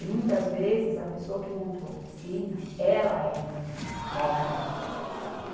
E, muitas vezes, a pessoa que montou a oficina, ela é mau caráter.